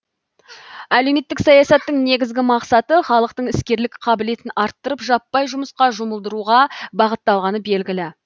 әлеуметтік саясаттың негізгі мақсаты халықтың іскерлік қабілетін арттырып жаппай жұмысқа жұмылдыруға бағытталғаны белгілі